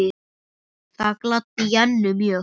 Það gladdi Jennu mjög.